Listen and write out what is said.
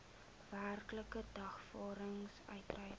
werklike dagvaarding uitgereik